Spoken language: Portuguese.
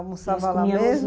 Almoçava lá mesmo?